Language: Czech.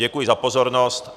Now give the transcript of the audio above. Děkuji za pozornost.